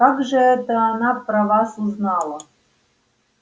как же это она про вас узнала